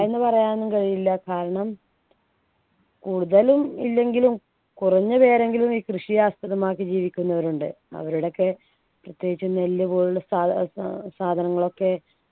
എന്ന് പറയാനും കഴിയില്ല കാരണം കൂടുതലും ഇല്ലെങ്കിലും കുറഞ്ഞു പേരെങ്കിലും ഈ കൃഷിയെ ആസ്പദമാക്കി ജീവിക്കുന്നവരുണ്ട് അവരുടെയൊക്കെ പ്രത്യേകിച്ചും നെല്ല് പോലുള്ള സാധ സാ സാധനങ്ങളൊക്കെ